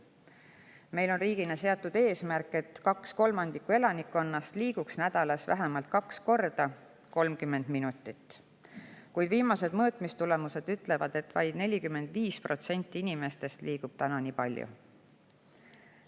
Meil on riigina seatud eesmärk, et kaks kolmandikku elanikkonnast liiguks nädalas vähemalt kaks korda 30 minutit, kuid viimased mõõtmistulemused ütlevad, et vaid 45% inimestest liigub nii palju.